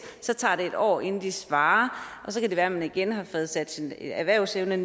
så tager det et år inden de svarer og så kan det være at man igen har fået sat sin erhvervsevne